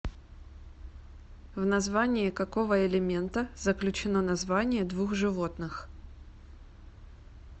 в название какого элемента заключено название двух животных